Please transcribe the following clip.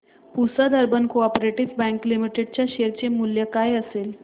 Pusad urban co-op bank limited च्या share चे मूल्य काय असेल